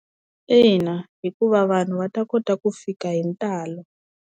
Ina, hikuva vanhu va ta kota ku fika hi ntalo.